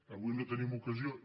avui no en tenim ocasió